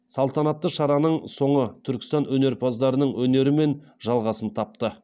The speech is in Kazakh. салтанатты шараның соңы түркістан өнерпаздарының өнерімен жалғасын тапты